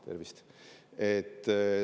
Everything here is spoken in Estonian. Tervist!